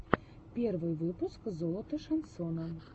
первый выпуск золото шансона